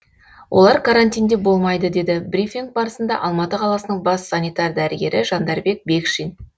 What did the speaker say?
олар карантинде болмайды деді брифинг барысында алматы қаласының бас санитар дәрігері жандарбек бекшин